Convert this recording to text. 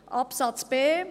Buchstabe b: